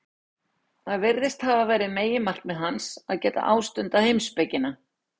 Það virðist hafa verið meginmarkmið hans, að geta ástundað heimspekina.